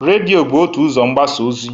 Redịo bụ otu ụzọ mgbasa ozi.